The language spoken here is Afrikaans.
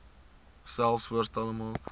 selfs voorstelle maak